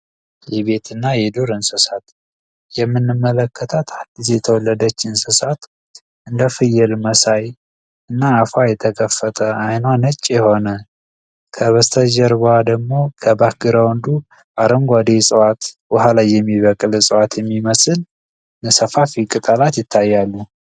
የቤትና የዱር እንስሳት የምንመለከታት አዲስ የተወለደች እንስሳት እንደፍዬል መሳይ አፉዋ የተከፈተ አይኗ ነጭ የሆነ ከበስተጀርባዋ ደግሞ አረንጓዴ እጽዋት ውሃ ላይ የሚበቅል የሚመስል ሰፋፊ ቅጠላት ይታያሉ።